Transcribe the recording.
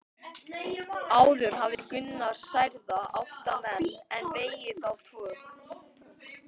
Áður hafði Gunnar særða átta menn en vegið þá tvo.